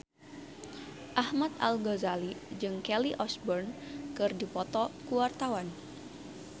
Ahmad Al-Ghazali jeung Kelly Osbourne keur dipoto ku wartawan